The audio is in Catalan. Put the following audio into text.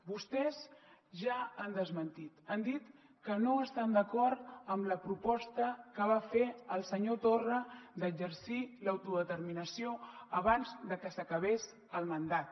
vostès ja han desmentit han dit que no estan d’acord amb la proposta que va fer el senyor torra d’exercir l’autodeterminació abans que s’acabés el mandat